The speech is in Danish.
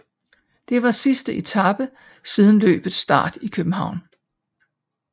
Det var sidste etape siden løbets start i København